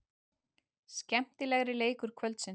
Skemmtilegri leikur kvöldsins.